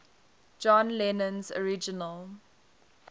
john lennon's original